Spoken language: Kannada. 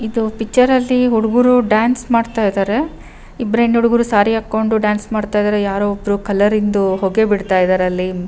ಇದು ಪಿಕ್ಚರ್ ಅಲ್ಲಿ ಹುಡುಗೂರು ಡಾನ್ಸ್ ಮಾಡ್ತಾ ಇದ್ದಾರೆ ಸಾರಿ ಹಾಕ್ಕೊಂಡು ಡಾನ್ಸ್ ಮಾಡ್ತಾ ಇದ್ದಾರೆ ಯಾರೋ ಒಬ್ರು ಕಲರ್ ಇಂದು ಹೊಗೆ ಬಿಡ್ತಿದ್ದಾರೆ ಇಲ್ಲಿ--